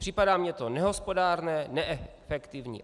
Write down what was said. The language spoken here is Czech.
Připadá mi to nehospodárné, neefektivní.